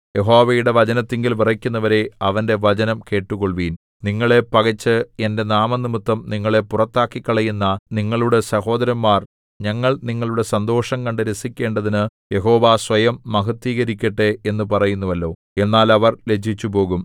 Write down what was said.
യഹോവയുടെ വചനത്തിങ്കൽ വിറയ്ക്കുന്നവരേ അവന്റെ വചനം കേട്ടുകൊള്ളുവിൻ നിങ്ങളെ പകച്ച് എന്റെ നാമംനിമിത്തം നിങ്ങളെ പുറത്താക്കിക്കളയുന്ന നിങ്ങളുടെ സഹോദരന്മാർ ഞങ്ങൾ നിങ്ങളുടെ സന്തോഷം കണ്ടു രസിക്കേണ്ടതിനു യഹോവ സ്വയം മഹത്ത്വീകരിക്കട്ടെ എന്നു പറയുന്നുവല്ലോ എന്നാൽ അവർ ലജ്ജിച്ചുപോകും